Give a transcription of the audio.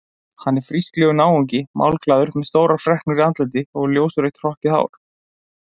Hann er frísklegur náungi, málglaður með stórar freknur í andliti og ljósrautt hrokkið hár.